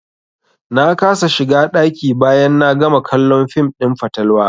Na kasa shiga ɗaki bayan na gama kallon fim ɗin fatalwa.